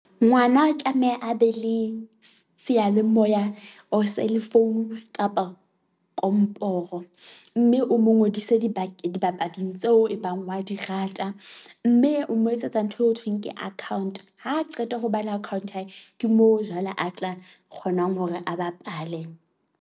Ngwana tlameha a be le seyalemoya or cell phone kapa komporo mme o mo ngodise dibapading tseo e bang wa di rata. Mme o mo etsetsa ntho eo ho thweng ke account. Ha qeta ho ba le account ya hae ke moo jwale a tla kgonang hore a bapale.